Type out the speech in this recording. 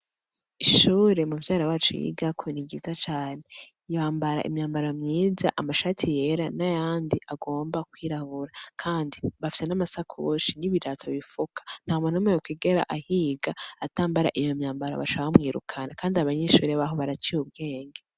Ishure muvyara wacu yigako niryiza cane bambara imyambaro myiza amashati yera nayandi agomba kwirabura kandi bafise namasakoshi nibirato bifuka ntamuntu yokwigera ahiga atambara iyo myambaro bashaka baca bamwirukana kandi abanyeshure baho baraciye ubwenge